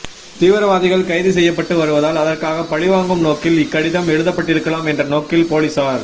தீவிரவாதிகள் கைது செய்யப்பட்டு வருவதால் அதற்காக பழிவாங்கும் நோக்கில் இக்கடிதம் எழுதப்பட்டிருக்கலாம் என்ற நோக்கில் போலிஸார்